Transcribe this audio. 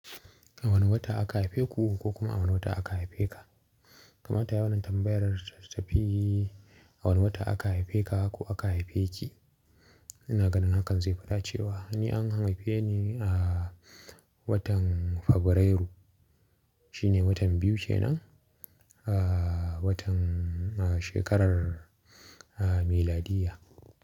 A wane wata aka haife ku ko kuma a wane wata aka haife ka? Kamata yayi wannana tambayar ta tafi a wane wata aka haife ka ko aka haife ki. Ina ganin hakan zai fi dacewa ni an haife ni a watan Fabrairu. Shi ne watan biyu kenan a watan shekarar miladiyya.